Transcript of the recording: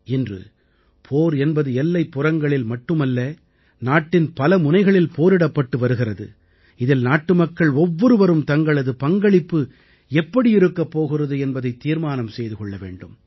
இன்று போர் என்பது எல்லைப்புறங்களில் மட்டுமல்ல நாட்டின் பல முனைகளில் போரிடப்பட்டு வருகிறது இதில் நாட்டுமக்கள் ஒவ்வொருவரும் தங்களது பங்களிப்பு எப்படி இருக்கப் போகிறது என்பதைத் தீர்மானம் செய்து கொள்ள வேண்டும்